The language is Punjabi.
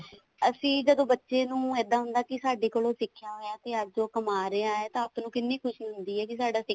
ਅਸੀਂ ਜਦੋਂ ਬੱਚੇ ਨੂੰ ਇੱਦਾਂ ਹੁੰਦਾ ਕੇ ਸਾਡੇ ਕੋਲੋਂ ਸਿੱਖਿਆ ਹੋਇਆ ਤੇ ਅੱਜ ਉਹ ਕਮਾ ਰਿਹਾ ਤੇ ਉਸ ਨੂੰ ਕਿੰਨੀ ਖੁਸ਼ੀ ਹੁੰਦੀ ਆ ਕੇ ਸਾਡਾ